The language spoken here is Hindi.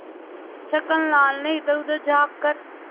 छक्कन लाल ने इधरउधर झॉँक कर